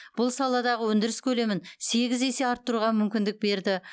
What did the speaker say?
бұл саладағы өндіріс көлемін сегіз есе арттыруға мүмкіндік берді